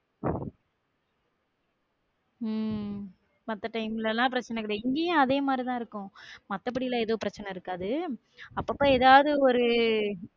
உம் மத்த time ல எல்லா பிரச்சன கிடையாது இங்கேயும் அதே மாரிதான் இருக்கும் மத்தபடி எல்லாம் எதுவும் பிரச்சனை இருக்காது அப்பப்ப ஏதாவது ஒரு